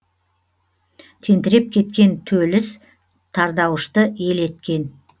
тентіреп кеткен төліс тардаушты ел еткен